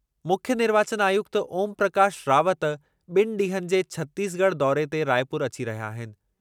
मुख्यु निर्वाचन आयुक्त ओमप्रकाश रावत ॿिनि ॾींहनि जे छतीसगढ़ दौरे ते रायपुर अची रहिया आहिनि।